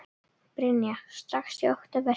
Brynja: Strax í október?